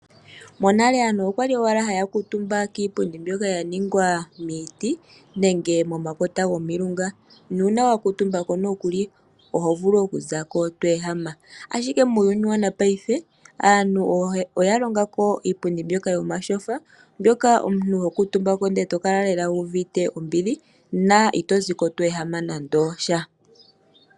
Monale aantu okwali owala haya kuutumba kiipundi mbyoka ya ningwa miiti nenge momakota gomilunga, nuuna wa kuutumba ko nokuli oho vulu okuzako to ehama. Ashike muuyuni wopaife aantu oya longa ko iipundi mbyoka yomatyofa mbyoka omuntu ho kuutumba ko ndele to kala lela wu uvite ombili na ito ziko to ehama nande osha.